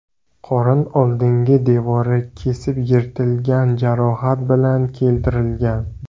qorin oldingi devori kesib yirtilgan jarohat bilan keltirilgan.